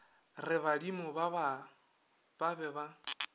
re badimo ba be ba